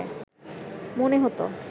মনে হতো